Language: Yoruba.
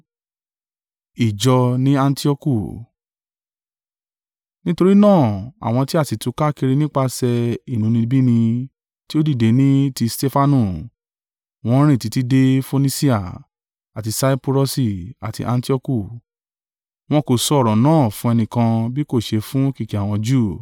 Nítorí náà àwọn tí a sì túká kiri nípasẹ̀ inúnibíni tí ó dìde ní ti Stefanu, wọ́n rìn títí de Fonisia, àti Saipurọsi, àti Antioku, wọn kò sọ ọ̀rọ̀ náà fún ẹnìkan bí kò ṣe fún kìkì àwọn Júù.